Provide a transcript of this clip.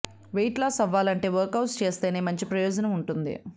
wait loss అవ్వాలంటే workouts చేస్తేనే మంచి ప్రయోజనం ఉంటుంది